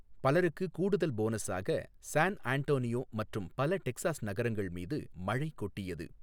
பலருக்கு கூடுதல் போனஸாக, சான் அன்டோனியோ மற்றும் பல டெக்சாஸ் நகரங்கள் மீது மழை கொட்டியது.